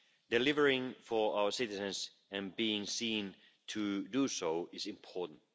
Delivering for our citizens and being seen to do so is important.